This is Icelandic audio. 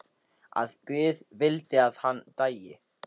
Að guð vildi að hann dæi.